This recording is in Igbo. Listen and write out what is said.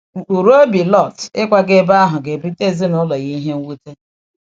Mkpụrụ obi Lọt ịkwaga ebe ahụ ga-ebute ezinụlọ ya nnukwu mwute.